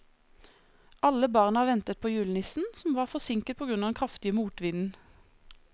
Alle barna ventet på julenissen, som var forsinket på grunn av den kraftige motvinden.